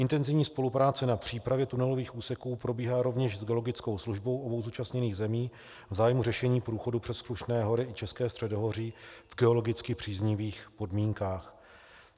Intenzivní spolupráce na přípravě tunelových úseků probíhá rovněž s geologickou službou obou zúčastněných zemí v zájmu řešení průchodu přes Krušné hory i České středohoří v geologicky příznivých podmínkách.